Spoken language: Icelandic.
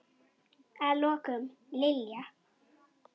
Að lokum, Lilja.